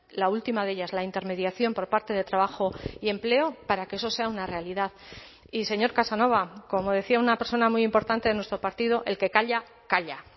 la última de ellas la intermediación por parte de trabajo y empleo para que eso sea una realidad y señor casanova como decía una persona muy importante de nuestro partido el que calla calla